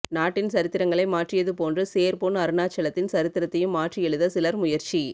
நாட்டின் சரித்திரங்களை மாற்றியது போன்று சேர் பொன் அருணாசலத்தின் சரித்திரத்தையும் மாற்றி எழுத சிலர் முயற்சி